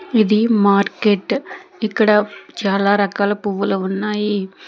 ఇది మార్కెట్ ఇక్కడ చాలా రకాల పువ్వులు ఉన్నాయి.